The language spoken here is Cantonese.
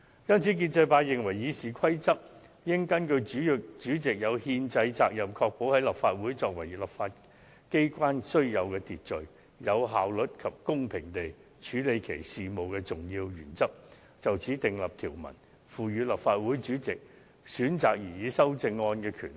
因此，建制派認為《議事規則》應根據主席有憲制責任確保立法會按照其作為立法機關須有秩序、有效率及公平地處理其事務的重要原則訂立條文，賦予立法會主席選擇擬議修正案的權力。